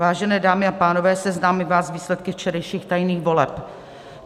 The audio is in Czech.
Vážené dámy a pánové, seznámím vás s výsledky včerejších tajných voleb.